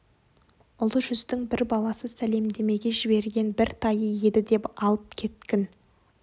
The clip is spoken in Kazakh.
ұлы жүздің бір баласы сәлемдемеге жіберген бір тайы еді деп алып кеткін